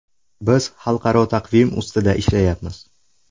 Biz xalqaro taqvim ustida ishlayapmiz.